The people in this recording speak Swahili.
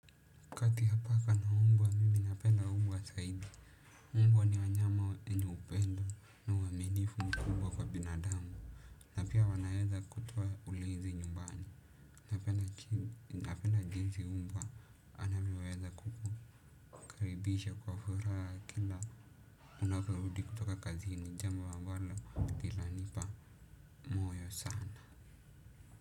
Kati ya paka na mbwa mimi napenda mbwa zaidi mbwa ni wanyama wenye upendo na uaminifu mkubwa kwa binadamu na pia wanaweza kutoa ulinzi nyumbani napenda jinsi umbwa anavyoweza kukukaribisha kwa furaha kila unaporudi kutoka kazini jambo ambalo lilanipa moyo sana.